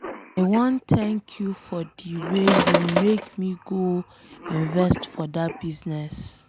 I wan thank you for the way you make me go invest for dat business.